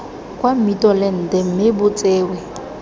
kwa mmitolente mme bo tsewe